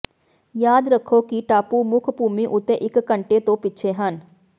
ਯਾਦ ਰੱਖੋ ਕਿ ਟਾਪੂ ਮੁੱਖ ਭੂਮੀ ਉੱਤੇ ਇੱਕ ਘੰਟੇ ਤੋਂ ਪਿੱਛੇ ਹਨ